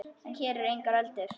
En hér eru engar öldur.